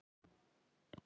Knýja dyra og kveðja.